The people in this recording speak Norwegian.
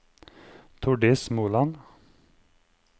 Tordis Moland